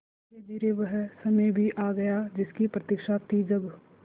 धीरेधीरे वह समय भी आ गया जिसकी प्रतिक्षा थी जब